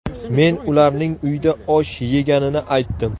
Men ularning uyda osh yeganini aytdim.